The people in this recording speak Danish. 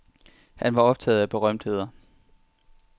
Han var optaget af berømtheder.